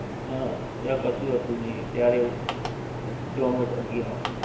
હા ત્યાં કશું હતું નહિ ત્યારે એવું. ઝોમેટો હતી હં.